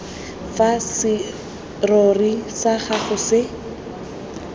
fa serori sa gago se